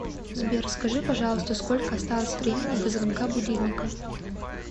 сбер скажи пожалуйста сколько осталось времени до звонка будильника